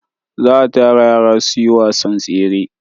Za a tara yara su yi wasan tsere.